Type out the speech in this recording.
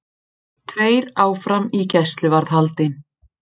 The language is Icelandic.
Tveir áfram í gæsluvarðhaldi